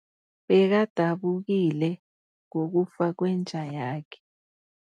Bekadabukile ngokufa kwenja yakhe.